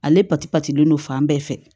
Ale pati pati don fan bɛɛ fɛ